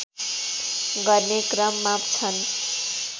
गर्ने क्रममा छन्